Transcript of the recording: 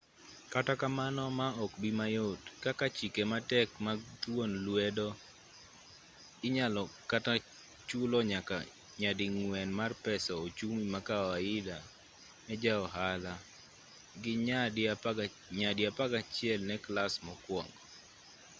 kata kamano ma ok bii mayot kaka chike ma tek mag thuon lwedo inyalo kata chulo nyaka nyading'wen mar pesa ochumi ma kawaida ne ja-ohala gi nyadi apagachiel ne klas mokuongo